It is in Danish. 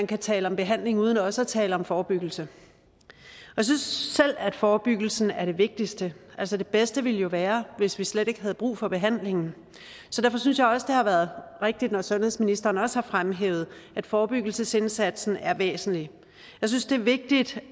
kan tale om behandling uden også at tale om forebyggelse jeg synes selv at forebyggelsen er det vigtigste altså det bedste ville jo være hvis vi slet ikke havde brug for behandlingen så derfor synes jeg også det har været rigtigt når sundhedsministeren har fremhævet at forebyggelsesindsatsen er væsentlig jeg synes det er vigtigt